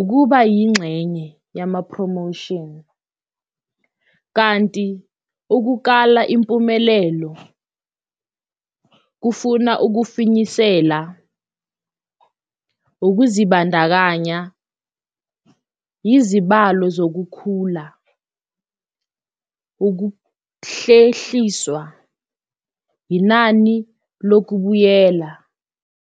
ukuba yingxenye yama-promotion. Kanti ukukala impumelelo kufuna ukufinyisela ukuzibandakanya, izibalo zokukhula ukuhlehliswa, inani lokubuyela.